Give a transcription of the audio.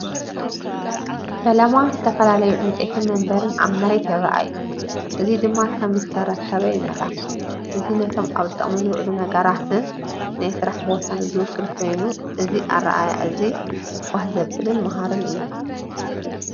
ፈለማ ዝተፈላለዩ ዕንጨይቲ መንበርን ኣብ መሬት ይረኣዩ። እዚ ድማ ከም ዝተረኽበ የመልክት። እዚ ነቶም ኣብ ጥቕሚ ዝውዕሉ ነገራትን ነቲ ናይ ስራሕ ቦታን ዝውክል ኮይኑ እዚ ኣረኣእያ እዚ ባህ ዘብልን መሃርን እዩ።